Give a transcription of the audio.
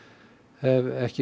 hef ekki